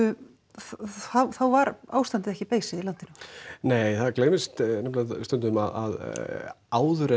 þá var ástandið ekki beysið í landinu nei það gleymist nefnilega stundum að áður en